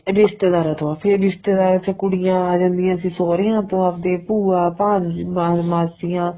ਰਿਸ਼ਤੇਦਾਰਾ ਤੋਂ ਵੱਧ ਫੇਰ ਰਿਸ਼ਤੇਦਾਰਾ ਚ ਕੁੜੀਆਂ ਆ ਜਾਂਦੀਆਂ ਸੀ ਸੋਹਰਿਆ ਤੋਂ ਆਪਦੇ ਭੂਆ ਭਾਣਜਾ ਮਾ ਮਾਸੀਆਂ